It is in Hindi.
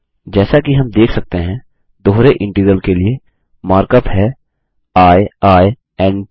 जैसा कि हम देख सकते हैं दोहरे इंटीग्रल के लिए मार्क अप है आई आई एन ट